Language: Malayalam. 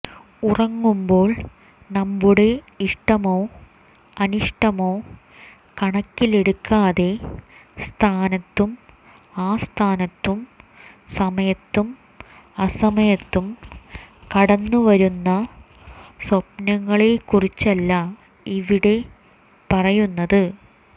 ഉറങ്ങുമ്പോൾ നമ്മുടെ ഇഷ്ടമോ അനിഷ്ടമോ കണക്കിലെടുക്കാതെ സ്ഥാനത്തും അസ്ഥാനത്തും സമയത്തും അസമയത്തും കടന്നു വരുന്ന സ്വപ്നങ്ങളെക്കുറിച്ചല്ല ഇവിടെ പറയുന്നത്